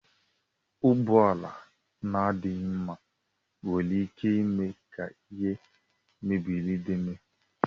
Ụgbọala na adịghị mma nwere ike ime ka ihe mberede mee.